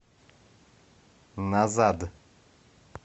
назад